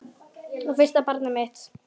Og fyrsta barnið mitt.